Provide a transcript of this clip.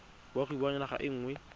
boagi ba naga e nngwe